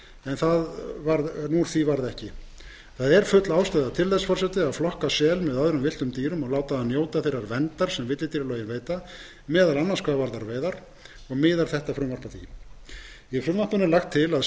eftir en það var ekki gert full ástæða er til að flokka sel með öðrum villtum dýrum og láta hann njóta þeirrar verndar sem villidýralögin veita meðal annars hvað varðar veiðar og miðar þetta frumvarp að því í frumvarpinu er lagt til að